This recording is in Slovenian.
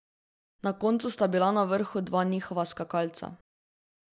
Na koncu sta bila na vrhu dva njihova skakalca.